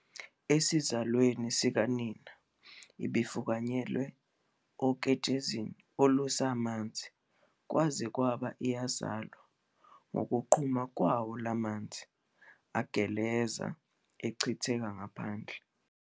Esizalweni sikanina ibifukanyelwe oketshezini olusamanzi kwaze kwaba iyazalwa ngokuqhuma kwawo la manzi, ageleza, echithekela ngaphandle.